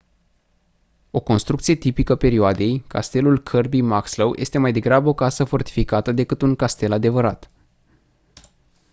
o construcție tipică perioadei castelul kirby muxloe este mai degrabă o casă fortificată decât un castel adevărat